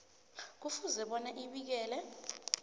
kufuze bona abikele